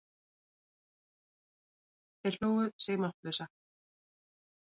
Þeir hlógu sig máttlausa.